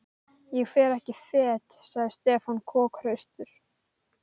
Ég fer ekki fet sagði Stefán kokhraustur.